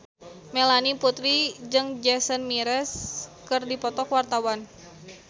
Melanie Putri jeung Jason Mraz keur dipoto ku wartawan